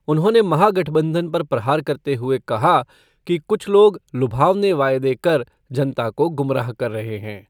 उन्होंने महागठबंधन पर प्रहार करते हुए कहा कि कुछ लोग लुभावने वायदे कर जनता को गुमराह कर रहे हैं।